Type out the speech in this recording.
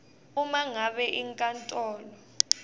uma ngabe inkantolo